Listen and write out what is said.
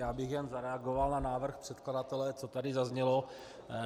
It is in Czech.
Já bych jen zareagoval na návrh předkladatele, co tady zaznělo.